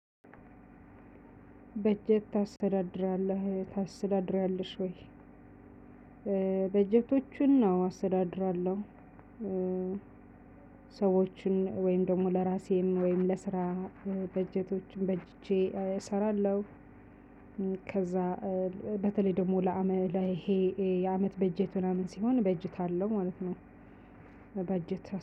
በጀት ታስተዳድራለህ? ታስተዳድሪያለሽ? ወይ? በጀቶቹን አወ አስተዳድራለሁ። ሰዎችን ወይም ደግሞ ለራሴም ወይም ለስራ በጀቶቹን በጅቼ እሰራለሁ። ከዛ በተለይ ደግሞ ለአመት ይሄ የአመት በጀት ምናምን ሲሆን እበጀት አለው ማለት ነው። በጀት